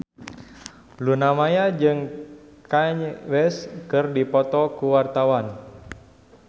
Luna Maya jeung Kanye West keur dipoto ku wartawan